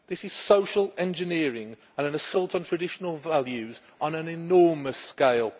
This is social engineering and an assault on traditional values on an enormous scale.